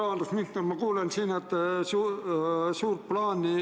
Austatud rahandusminister!